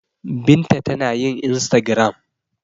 Binta tana yin instagram.